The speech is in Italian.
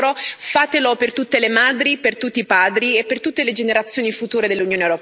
Fatelo per tutte le madri, per tutti i padri e per tutte le generazioni future dell'Unione europea.